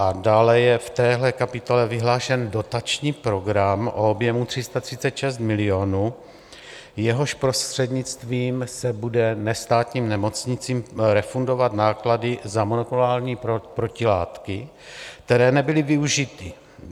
A dále je v téhle kapitole vyhlášen dotační program o objemu 336 milionů, jehož prostřednictvím se budou nestátním nemocnicím refundovat náklady za molekulární protilátky, které nebyly využity.